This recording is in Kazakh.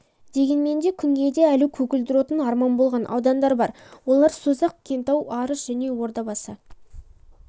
дегенмен де күнгейде әлі көгілдір отын арман болған аудандар бар олар созақ кентау арыс және ордабасы